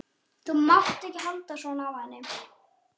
Þú mátt ekki halda svona á henni.